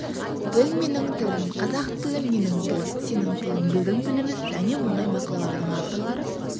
тіл менің тілім қазақ тілі менің тілім сенің тілің біздің тіліміз және мұндай мақалалардың авторлары